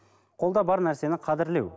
қолда бар нәрсені қадірлеу